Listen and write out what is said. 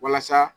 Walasa